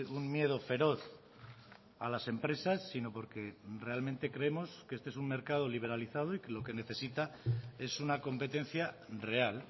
un miedo feroz a las empresas sino porque realmente creemos que este es un mercado liberalizado y lo que necesita es una competencia real